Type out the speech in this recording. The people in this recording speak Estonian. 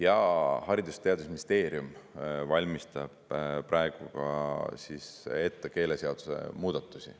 Ja Haridus‑ ja Teadusministeerium valmistab praegu ette keeleseaduse muudatusi.